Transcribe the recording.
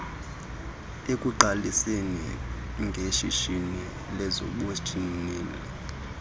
ekuqaliseni ngeshishini lezobunjineli